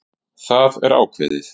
Það er ákveðið!